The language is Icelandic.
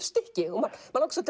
stykki mann langar